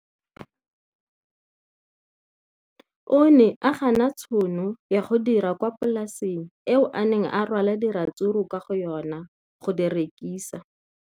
O ne a gana tšhono ya go dira kwa polaseng eo a neng rwala diratsuru kwa go yona go di rekisa.